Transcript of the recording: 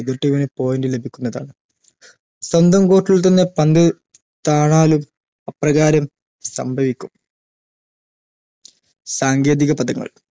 എതിർ team ന് point ലഭിക്കുന്നതാണ് സ്വന്തം court ൽ തന്നെ പന്ത് താണാലും അപ്രകാരം സംഭവിക്കും സാങ്കേതിക പദങ്ങൾ